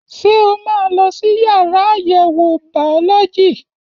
Ṣé o máa lọ sí yàrá àyẹ̀wò bàọ́lọ́jì?